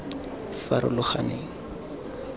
farologaneng